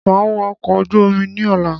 Màá wọ̀ ọkọ̀ ojú omi ní ọ̀la